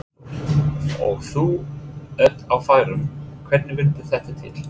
Hafþór: Og þú ert á færum, hvernig vildi þetta til?